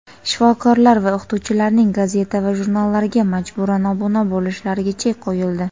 shifokorlar va o‘qituvchilarning gazeta va jurnallarga majburan obuna bo‘lishlariga chek qo‘yildi.